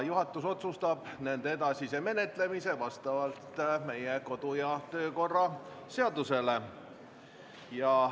Juhatus otsustab nende edasise menetlemise vastavalt meie kodu- ja töökorra seadusele.